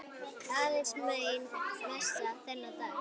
Aðeins ein messa þennan dag.